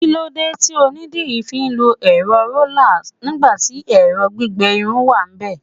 kilode ti onidiri fi lo ero roller nigbati ẹrọ gbígbẹ Irun wanbe